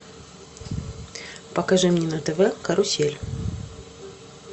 покажи мне на тв карусель